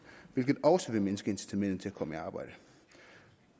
hvilket også vil mindske incitamentet til at komme i arbejde